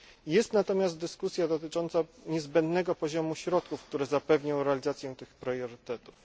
Jest natomiast dyskusja dotycząca niezbędnego poziomu środków, które zapewnią realizację tych priorytetów.